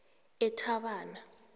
ethabana